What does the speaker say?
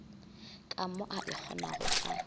ka mo a ikgonago ka